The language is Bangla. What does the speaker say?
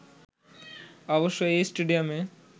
অবশ্য এই স্টেডিয়ামে